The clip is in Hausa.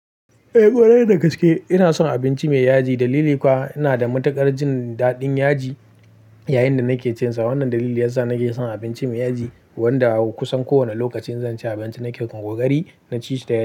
Eh kwarai da gaske ina son abinci mai yaji. Dalili kuwa ina da matuƙar jin daɗin yaji. Yayinda nake cinsa, wannan dalili yasa nake son abinci mai yaji wanda kusan kowane lokacin zan ci abinci nake kokari na ci shi da yaji.